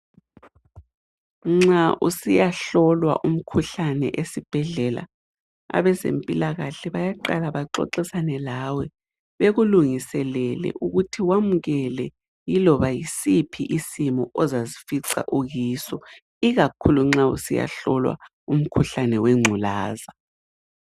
Nxa usiya hlolwa umkhuhlane esibhedlela abezempilakahle bayaqala baxoxisane lawe bekulungiselele ukuthi wamukele iloba yisiphi isimo ozazifica ukiso ikakhulu nxa usiya hlolwa umkhuhlane wengculaza.